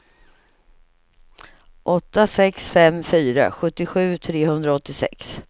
åtta sex fem fyra sjuttiosju trehundraåttiosex